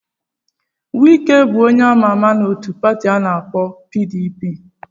Wike wụ onye a ma-ama na pati nke a na-akpọ PDP.